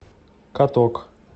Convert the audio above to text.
каток